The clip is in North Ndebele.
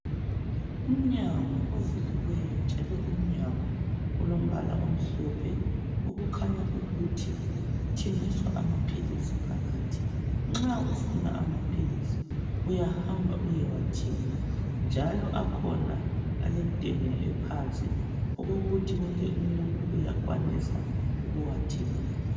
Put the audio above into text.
Umnyango ovuliweyo njalo umnyango alombala omhlophe, okukhanya ukuthi kuthengiswa amaphilisi phakathi. Nxa ufuna amaphilisi uyahamba uyewathenga, njalo akhona alentengo ephansi okokuthi wonke umuntu uyakwanisa ukuwathenga.